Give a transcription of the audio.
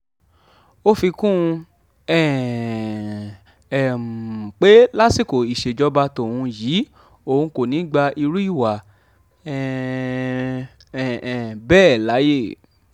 ó fi kún un um pé lásìkò ìṣèjọba tóun yìí òun kò ní í gba irú ìwà um bẹ́ẹ̀ láàyè